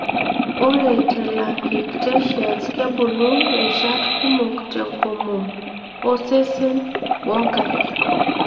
Ore telangiectasias kebulu rishat kumok tenkomom, osesen wonkaik.